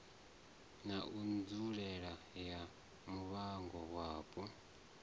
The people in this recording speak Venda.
na nzulele ya muvhango wapo